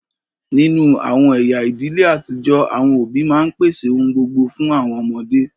Ninu awọn ẹya idile atijọ, awọn obi ma n pese ohun gbogbo fun awọn ọmọde